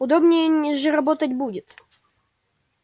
удобнее же работать будет